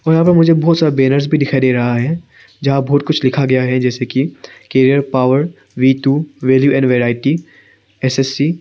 यहां पर मुझे बहुत सारा बैनर्स भी दिखाई दे रहा है जहां बहुत कुछ लिखा गया है जैसे कि career power V two value and variety S S C.